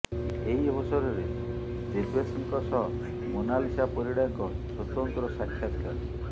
ଏହି ଅବସରରେ ଦେବେଶଙ୍କ ସହ ମୋନାଲିସା ପରିଡ଼ାଙ୍କ ସ୍ୱତନ୍ତ୍ର ସାକ୍ଷାତକାର